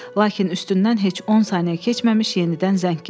Lakin üstündən heç 10 saniyə keçməmiş yenidən zəng gəldi.